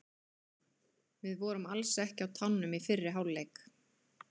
VIð vorum alls ekki á tánum í fyrri hálfleik.